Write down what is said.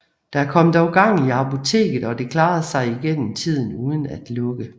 Der kom dog gang i apoteket og det klarede sig igennem tiden uden at lukke